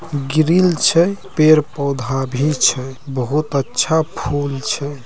Grill छै पेड़-पौधा भी छै बहुत अच्छा फूल छै।